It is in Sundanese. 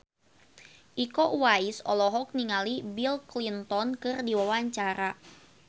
Iko Uwais olohok ningali Bill Clinton keur diwawancara